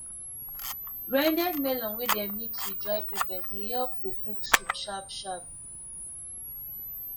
grinded melon wey dem mix with dry pepper dey help to cook soup sharp sharp